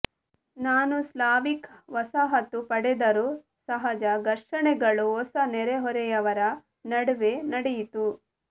ನಾನು ಸ್ಲಾವಿಕ್ ವಸಾಹತು ಪಡೆದರು ಸಹಜ ಘರ್ಷಣೆಗಳು ಹೊಸ ನೆರೆಹೊರೆಯವರ ನಡುವೆ ನಡೆಯಿತು